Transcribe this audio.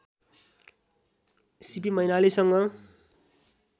CP मैनालीसँग